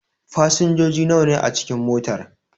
Fasinjoji nawa ne a cikin motar?